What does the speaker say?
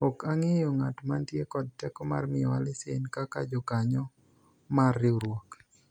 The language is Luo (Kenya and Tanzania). ok ang'eyo ng'at mantie kod teko mar miyowa lesen kaka jokanyo mar riwruok